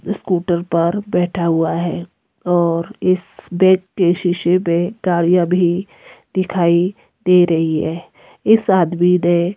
scooter पर बैठा हुआ है और इस बैक के शीशे में गाड़ियां भी दिखाई दे रही है इस आदमी ने--